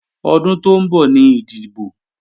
Ọdún tó ń bọ̀ ni ìdìbò